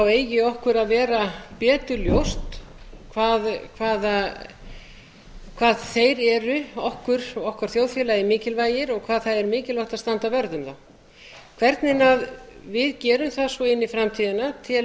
eigi okkur að vera betur ljóst hvað þeir eru okkur og okkar þjóðfélagi mikilvægir og hvað það er mikilvægt að standa vörð um þá hvernig við gerum það svo inn í framtíðina tel